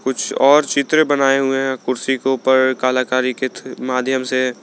कुछ और चित्र बनाए हुए है कुर्सी के ऊपर कलाकारी के माध्यम से।